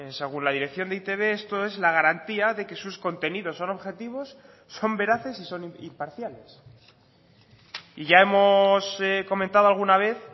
según la dirección de e i te be esto es la garantía de que sus contenidos son objetivos son veraces y son imparciales y ya hemos comentado alguna vez